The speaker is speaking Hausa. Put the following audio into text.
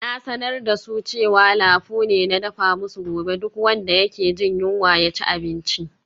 Na sanar da su cewa lafu ne na dafa musu gobe, duk wanda yake jin yunwa ya ci abinci.